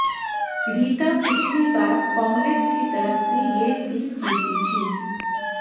रीता पिछली बार कांग्रेस की तरफ से ये सीट जीती थीं